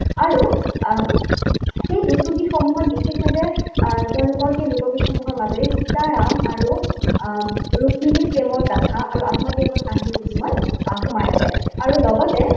আৰু আহ সেই টুচুগীতসমূহৰ বিশেষভাৱে আহ তেওঁলোকৰ সেই লোকগীতসমূহৰ মাজেৰে সীতাৰাম আৰু আহ ৰুক্মিণীৰ প্ৰেমৰ গাঁথা আৰু কাহিনী কিছুমান সোমাই আছে। আৰু লগতে